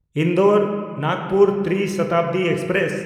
ᱤᱱᱫᱳᱨ–ᱱᱟᱜᱽᱯᱩᱨ ᱛᱨᱤ ᱥᱚᱛᱟᱵᱫᱤ express